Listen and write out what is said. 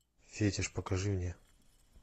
фетиш покажи мне